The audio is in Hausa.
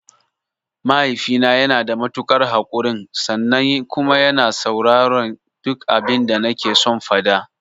Mahaifina yanada matuƙar haƙurin sannan kuma yana sauraren duk abinda nakeson faɗa.